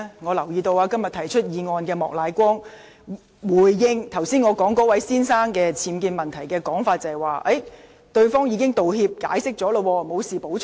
我留意到，提出是項議案的莫乃光議員，就我剛才提到那位先生的僭建問題作出回應時表示，對方已道歉並作出解釋，因此他沒有補充。